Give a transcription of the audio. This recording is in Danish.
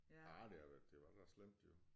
Ah det har været det var da slemt jo